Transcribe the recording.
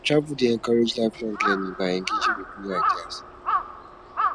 travel dey encourage lifelong learning by engaging with new ideas